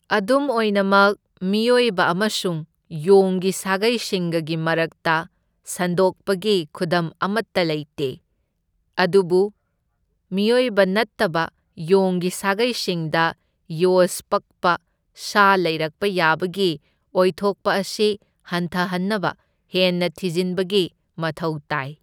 ꯑꯗꯨꯝ ꯑꯣꯏꯅꯃꯛ, ꯃꯤꯑꯣꯏꯕ ꯑꯃꯁꯨꯡ ꯌꯣꯡꯒꯤ ꯁꯥꯒꯩꯁꯤꯡꯒꯒꯤ ꯃꯔꯛꯇ ꯁꯟꯗꯣꯛꯄꯒꯤ ꯈꯨꯗꯝ ꯑꯃꯠꯇ ꯂꯩꯇꯦ, ꯑꯗꯨꯕꯨ ꯃꯤꯑꯣꯏꯕ ꯅꯠꯇꯕ ꯌꯣꯡꯒꯤ ꯁꯥꯒꯩꯁꯤꯡꯗ ꯌꯣꯁ ꯄꯛꯄ ꯁꯥ ꯂꯩꯔꯛꯄ ꯌꯥꯕꯒꯤ ꯑꯣꯏꯊꯣꯛꯄ ꯑꯁꯤ ꯍꯟꯊꯍꯟꯅꯕ ꯍꯦꯟꯅ ꯊꯤꯖꯤꯟꯕꯒꯤ ꯃꯊꯧ ꯇꯥꯏ꯫